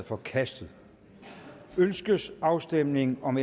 forkastet ønskes afstemning om